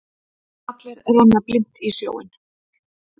Allir renna blint í sjóinn.